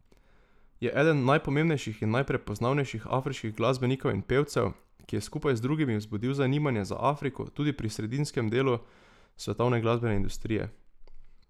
Je eden najpomembnejših in najprepoznavnejših afriških glasbenikov in pevcev, ki je skupaj z drugimi vzbudil zanimanje za Afriko tudi pri sredinskem delu svetovne glasbene industrije.